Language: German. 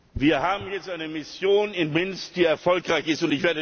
Wir haben jetzt eine Mission in Minsk, die erfolgreich ist.